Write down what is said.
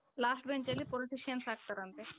last benchಅಲ್ಲಿ politicians ಆಗ್ತಾರಂತೆ.